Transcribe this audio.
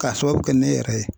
K'a sababu kɛ ne yɛrɛ ye